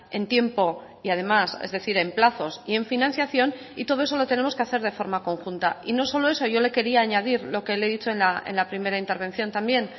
en tiempo y además es decir en plazos y en financiación y todo eso lo tenemos que hacer de forma conjunta y no solo eso yo le quería añadir lo que le he dicho en la primera intervención también